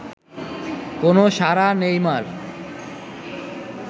কোনও সাড়া নেই মা’র